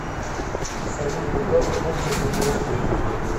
салют когда закончился польская интервенция